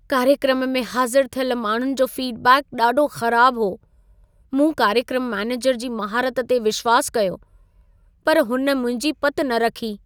कार्यक्रम में हाज़िर थियल माण्हुनि जो फीडबैक ॾाढो ख़राब हो। मूं कार्यक्रम मैनेजर जी महारत ते विश्वास कयो, पर हुन मुंहिंजी पति न रखी।